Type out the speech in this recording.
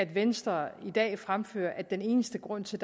venstre i dag fremfører om at den eneste grund til